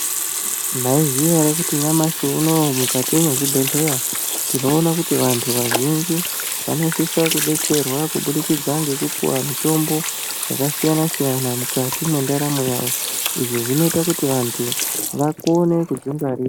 Maiziya ere kuti nyamashi unou mukati mwezvibhedhlera tinoona kuti vantu vazhinji vanosisa kudetserwa kubudikidza ngekupuwa mitombo yakasiyana siyana mukati mwendaramo yavo izvi zvinoita kuti vantu vakone kudzingwarira.